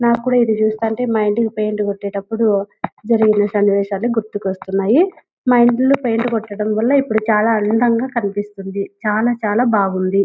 నాకూడా ఇది చూస్తంటే మా ఇంటికి పెయింట్ కొట్టేటప్పుడు జరిగిన సన్నీ వేశాలు గుర్తుకొస్తున్నాయి మా ఇంట్లో పెయింట్ కొట్టడం వల్లా ఇప్పుడు చాల అందం గ కనిపిస్తుంది చాలా చాలా బాగుంది.